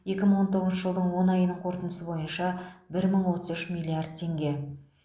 екі мың он тоғызыншы жылдың он айының қорытындысы бойынша бір мың отыз үш миллиард теңге